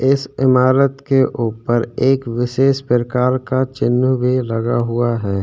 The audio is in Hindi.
इस ईमारत के ऊपर एक विशेष प्रकार का चिंह भी लगा हुआ हैं।